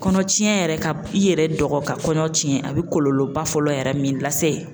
Kɔnɔ tiɲɛ yɛrɛ ka i yɛrɛ dɔgɔ ka kɔɲɔ tiɲɛ a bɛ kɔlɔlɔba fɔlɔ yɛrɛ min lase .